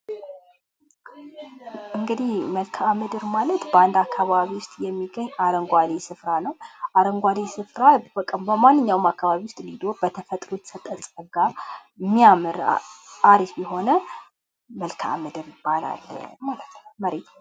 እንግዲህ መልካዓ-ምድር ማለት በአንድ አካባቢ ውስጥ የሚገኝ አረንጓዴ ስፍራ ነው። አረንጓዴ ስፍራ በቃ በማንኛውም አካባቢ ውስጥ እንዲሁም በተፈጥሮ የተሰጠን ፀጋ እሚያምር አሪፍ የሆነ መልካዓ-ምድር ይባላል ማለት ነው። መሬት